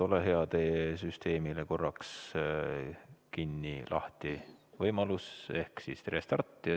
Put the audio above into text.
Ole hea, Eduard, pane süsteem korraks kinni ja tee uuesti lahti ehk tee restart.